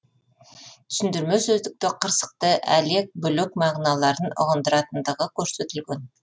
түсіндірме сөздікте қырсықты әлек бүлік мағыналарын ұғындыратындығы көрсетілген